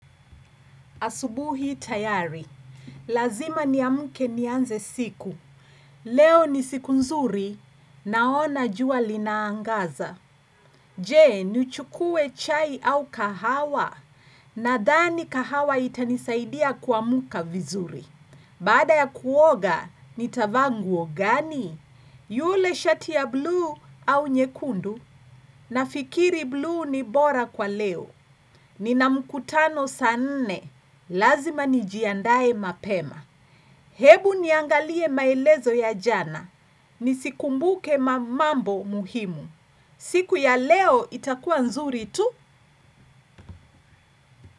Asubuhi tayari, lazima ni amke nianze siku. Leo ni siku nzuri, naona jua linaangaza. Je, nichukue chai au kahawa, nadhani kahawa itanisaidia kuamka vizuri. Baada ya kuoga, nitavaanguo gani? Yule shati ya blue au nyekundu, nafikiri blue ni bora kwa leo. Nina mkutano saanne, lazima nijiandaye mapema. Hebu niangalie maelezo ya jana, nisikumbuke mamambo muhimu. Siku ya leo itakua nzuri tu?